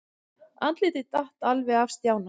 Andlitið datt alveg af Stjána.